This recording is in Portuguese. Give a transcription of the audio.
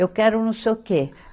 Eu quero não sei o quê.